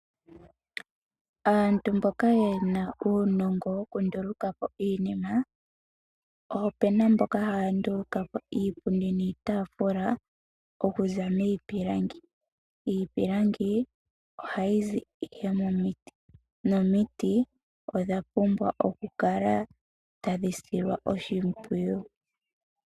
Aantu mboka yena uunongo wokunduluka po iinima opuna mboka haya nduluka po iipundi niitafula okuza miipilangi, iipilangi ohayi zi ihe momiti. Omiti odha pumbwa okukala tadhi silwa oshimpwiyu.